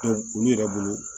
olu yɛrɛ bolo